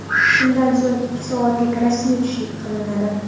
Shundan so‘ng, ikki soatlik rasmiy tushlik tashkil qilinadi.